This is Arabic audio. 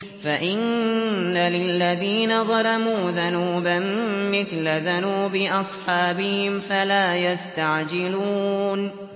فَإِنَّ لِلَّذِينَ ظَلَمُوا ذَنُوبًا مِّثْلَ ذَنُوبِ أَصْحَابِهِمْ فَلَا يَسْتَعْجِلُونِ